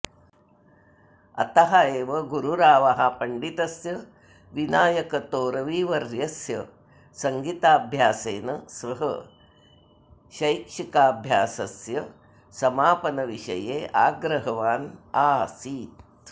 अतः एव गुरुरावः पण्डितस्य विनायकतोरविवर्यस्य सङ्गीताभ्यासेन सह शैक्षिकाभ्यासस्य समापनविषये आग्रहवान् आसीत्